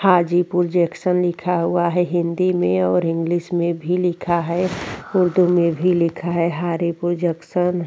Hajipur junction लिखा हुआ है हिन्दी में और इंग्लिश में भी लिखा है उर्दू में भी लिखा है हारेपुर जंक्शन ।